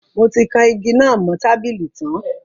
Mo ti kan igi náà mo tábìlì tan